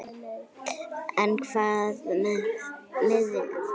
En hvað með miðjuna?